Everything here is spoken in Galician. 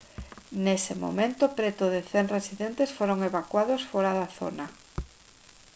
nese momento preto de 100 residentes foron evacuados fóra da zona